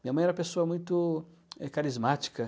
Minha mãe era uma pessoa muito, eh, carismática.